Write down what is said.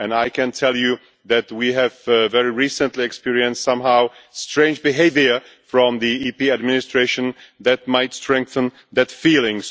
I can tell you that we have very recently experienced some strange behaviour from the EP administration which might strengthen that feeling.